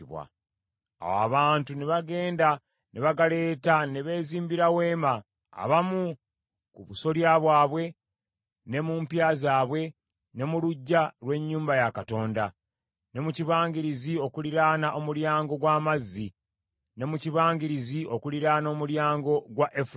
Awo abantu ne bagenda ne bagaleeta ne beezimbira weema, abamu ku busolya bwabwe, ne mu mpya zaabwe, ne mu luggya lw’ennyumba ya Katonda, ne mu kibangirizi okuliraana Omulyango gw’Amazzi, ne mu kibangirizi okuliraana Omulyango gwa Efulayimu.